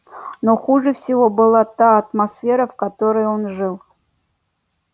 но хуже всего была та атмосфера в которой он жил